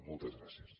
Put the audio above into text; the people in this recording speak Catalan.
moltes gràcies